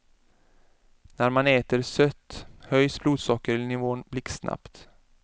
När man äter sött höjs blodsockernivån blixtsnabbt.